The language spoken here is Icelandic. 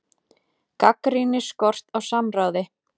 Gagnrýnir skort á samráði